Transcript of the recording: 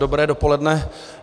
Dobré dopoledne.